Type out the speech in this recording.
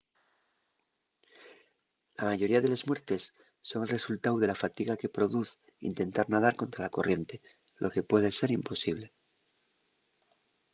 la mayoría de les muertes son el resultáu de la fatiga que produz intentar nadar contra la corriente lo que puede ser imposible